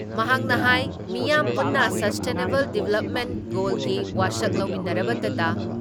ꯃꯍꯥꯛꯅ ꯍꯥꯏ ꯃꯤꯌꯥꯝ ꯄꯨꯟꯅ ꯏꯁꯇꯦꯅꯦꯕꯜ ꯗꯤꯕ꯭ꯂꯞꯃꯦꯟ ꯒꯣꯜꯒꯤ ꯋꯥꯁꯛ ꯂꯧꯃꯤꯟꯅꯔꯕꯗꯇ